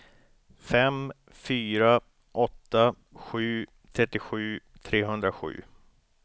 fem fyra åtta sju trettiosju trehundrasju